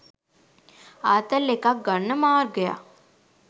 ආතල් එකක් ගන්න මාර්ගයක්